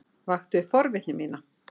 Vakti upp forvitni mína.